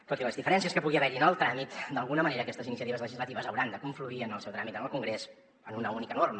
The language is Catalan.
tot i les diferències que pugui haver hi en el tràmit d’alguna manera aquestes iniciatives legislatives hauran de confluir en el seu tràmit en el congrés en una única norma